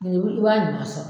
i b'a ɲuman sɔrɔ.